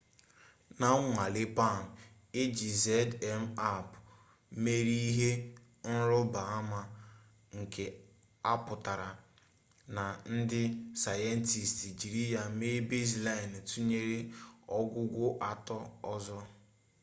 na nnwale palm eji zmapp mere ihe nruba ama nke a putara na ndi sayentist jiri ya mee baseline tunyere ogwugwo ato ozo